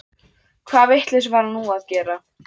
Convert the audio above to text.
Hvaða vitleysu var hann nú að gera?